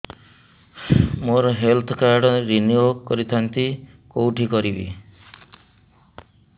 ମୋର health card renew କରିଥାନ୍ତି କୋଉଠି କରିବି